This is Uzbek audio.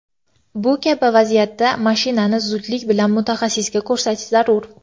Bu kabi vaziyatda mashinani zudlik bilan mutaxassisga ko‘rsatish zarur.